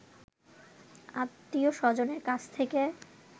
আত্মীয় স্বজনের কাছ থেকে